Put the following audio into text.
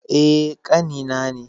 Eh, ƙani na ne.